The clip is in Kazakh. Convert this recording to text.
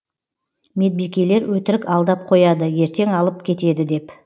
медбикелер өтірік алдап қояды ертең алып кетеді деп